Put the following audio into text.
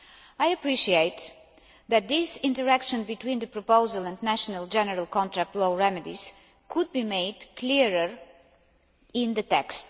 I appreciate that this interaction between the proposal and national general contract law remedies could be made clearer in the text.